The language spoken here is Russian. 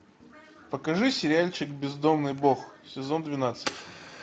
покажи сериальчик бездомный бог сезон двенадцать